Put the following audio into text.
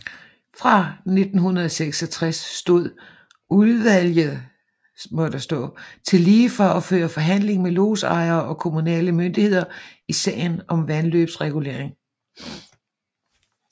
Fra 1966 stod udvlget tillige for at føre forhandling med lodsejere og kommunale myndigheder i sager om vandløbsregulering